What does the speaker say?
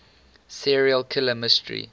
serial killer mystery